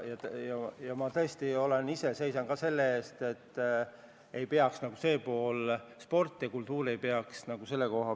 Ja ma tõesti seisan ka ise selle eest, et sport ja kultuur ei kannataks seetõttu.